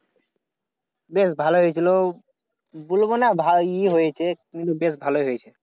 বেশ ভালোই হয়েছিল। বলবো না ভালোই হয়েছে কিন্তু বেশ ভালো হয়েছে।